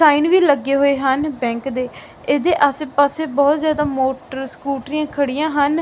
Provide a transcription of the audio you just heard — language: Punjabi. ਸਾਈਨ ਵੀ ਲੱਗੇ ਹੋਏ ਹਨ ਬੈਂਕ ਦੇ ਇਹਦੇ ਆਸੇ ਪਾਸੇ ਬਹੁਤ ਜਿਆਦਾ ਮੋਟਰ ਸਕੂਟਰੀਆਂ ਖੜੀਆਂ ਹਨ।